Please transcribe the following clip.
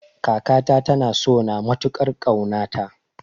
Kakata ta na sona matukar kauna ta